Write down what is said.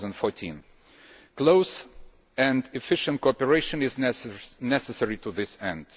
2014. Close and efficient cooperation is necessary to this end.